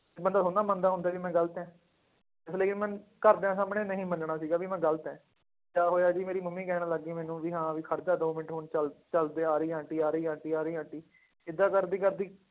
ਤੇ ਬੰਦਾ ਥੋੜ੍ਹੀ ਨਾ ਮੰਨਦਾ ਹੁੰਦਾ ਵੀ ਮੈਂ ਗ਼ਲਤ ਹੈ, ਇਸ ਲਈ ਮੈਂ ਘਰਦਿਆਂ ਸਾਹਮਣੇ ਨਹੀਂ ਮੰਨਣਾ ਸੀਗਾ ਵੀ ਮੈਂ ਗ਼ਲਤ ਹੈ, ਕਿਆ ਹੋਇਆ ਜੀ ਮੇਰੀ ਮੰਮੀ ਕਹਿਣ ਲੱਗ ਗਈ ਮੈਨੂੰ ਵੀ ਹਾਂ ਵੀ ਖੜ ਜਾ ਦੋ ਮਿੰਟ ਹੁਣ ਚੱਲ ਚੱਲ ਤੇ ਆ ਰਹੀ ਆ ਆਂਟੀ, ਆ ਰਹੀ ਆਂਟੀ, ਆ ਰਹੀ ਆਂਟੀ ਏਦਾਂ ਕਰਦੀ ਕਰਦੀ